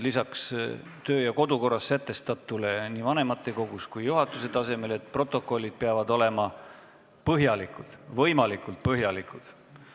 Lisaks kodu- ja töökorra seaduses sätestatule on vanematekogus ja juhatuse tasemel kokku lepitud, et protokollid peavad olema võimalikult põhjalikud.